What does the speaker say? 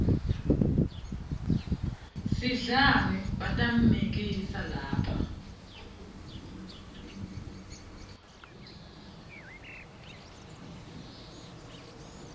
sidlani batammikisa lapha